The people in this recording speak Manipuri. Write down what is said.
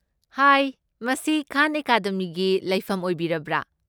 ꯍꯥꯏ, ꯃꯁꯤ ꯈꯥꯟ ꯑꯦꯀꯥꯗꯦꯃꯤꯒꯤ ꯂꯩꯐꯝ ꯑꯣꯏꯕꯤꯔꯕ꯭ꯔꯥ?